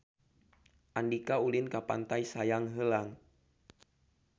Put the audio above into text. Andika ulin ka Pantai Sayang Heulang